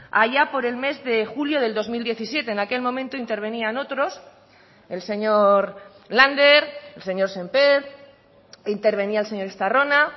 allá por el mes de julio del dos mil diecisiete en aquel momento intervenían otros el señor lander el señor sémper intervenía el señor estarrona